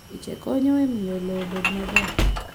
kiche konyo e miyo lowo obed maber.